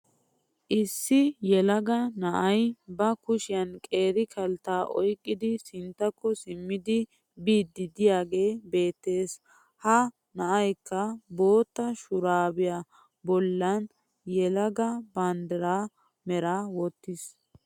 Issi yeellaagaa naa'ay ba kushiyan qeeri kaltta oyqqidi sinttakko simmiddi biyddi diyaagee beettees. Ha naa'aykka bottaa shurabbiyaa bollan yeellaaga banddira meraa wotisis.